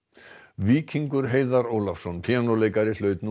Víkingur Heiðar Ólafsson píanóleikari hlaut nú